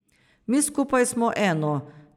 Mi skupaj smo eno.